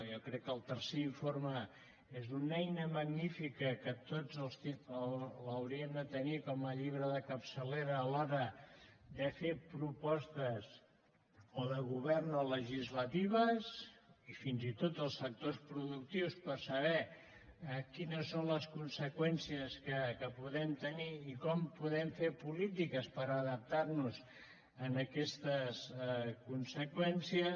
jo crec que el tercer informe és una eina magnífica que tots l’hauríem de tenir com a llibre de capçalera a l’hora de fer propostes o de govern o legislatives i fins i tot els sectors productius per saber quines són les conseqüències que podem tenir i com podem fer polítiques per adaptar nos a aquestes conseqüències